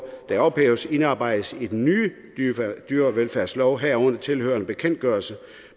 der ophæves indarbejdes i den nye dyrevelfærdslov herunder tilhørende bekendtgørelse